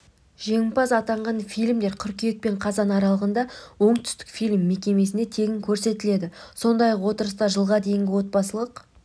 жеңімпаз атанған фильмдер қыркүйек пен қазан аралығында оңтүстікфильм мекемесінде тегін көрсетіледі сондай-ақ отырыста жылға дейінгі отбасылық